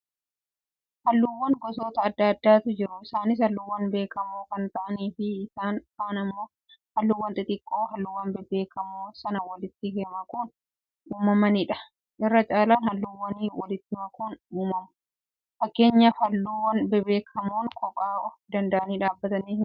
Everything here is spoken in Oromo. Halluuwwan gosoota adda addaatu jiru. Isaanis halluuwwan beekamoo kan ta'anii fi isaan kaan immo halluu xixiqqoo halluuwwan beekamoo sana walitti makuun uumamanidha. Irra caalaan halluuwwanii walitti makuun uumamu. Fakkeenya halluu beekamoo kophaa of dand'anii dhaabbatanii himi?